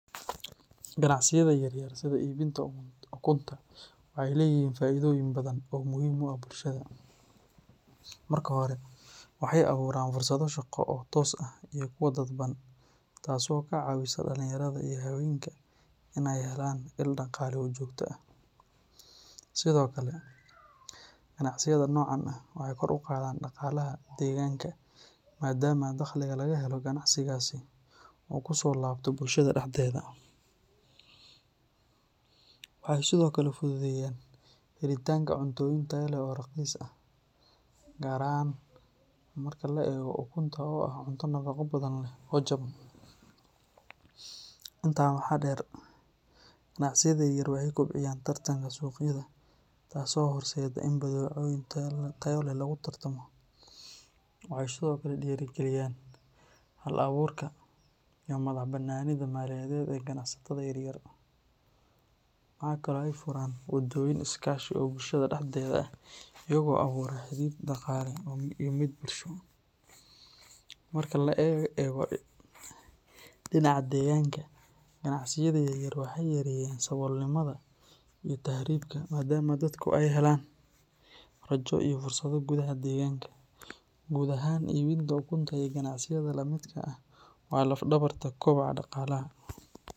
Ganacsiyada yar yar sida iibinta ukunta waxay leeyihiin faa’iidooyin badan oo muhiim u ah bulshada. Marka hore, waxay abuuraan fursado shaqo oo toos ah iyo kuwo dadban, taasoo ka caawisa dhalinyarada iyo haweenka inay helaan il dhaqaale oo joogto ah. Sidoo kale, ganacsiyada noocan ah waxay kor u qaadaan dhaqaalaha deegaanka maadaama dakhliga laga helo ganacsigaasi uu kusoo laabto bulshada dhexdeeda. Waxay sidoo kale fududeeyaan helitaanka cuntooyin tayo leh oo raqiis ah, gaar ahaan marka la eego ukunta oo ah cunno nafaqo badan leh oo jaban. Intaa waxaa dheer, ganacsiyada yaryar waxay kobciyaan tartanka suuqyada taasoo horseedda in badeecooyin tayo leh lagu tartamo. Waxay sidoo kale dhiirrigeliyaan hal-abuurka iyo madax-bannaanida maaliyadeed ee ganacsatada yaryar. Waxa kale oo ay furaan waddooyin iskaashi oo bulshada dhexdeeda ah, iyagoo abuura xidhiidh dhaqaale iyo mid bulsho. Marka laga eego dhinaca deegaanka, ganacsiyada yaryar waxay yareeyaan saboolnimada iyo tahriibka maadaama dadku ay helaan rajo iyo fursado gudaha deegaanka. Guud ahaan, iibinta ukunta iyo ganacsiyada la midka ah waa laf-dhabarta kobaca dhaqaalaha.